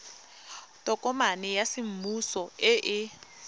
tokomane ya semmuso e e